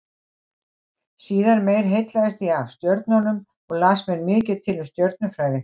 Síðar meir heillaðist ég af stjörnunum og las mér mikið til um stjörnufræði.